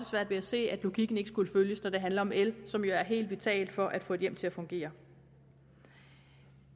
ved at se at logikken ikke skulle følges når det handler om el som jo er helt vitalt for at få et hjem til at fungere